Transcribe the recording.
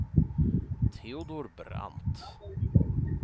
Teodor Brandt